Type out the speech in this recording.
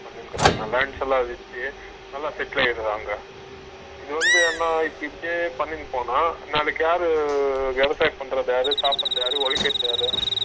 lands எல்லா வித்து நல்ல settle ஆகிடுவாங்க இது வந்து அண்ணா இப்படியே பண்ணிட்டு போனா நாளைக்கு யாரு விவசாயம் பண்றது யாரு சாப்பிடறது யாரு உழைக்குறது யாரு ?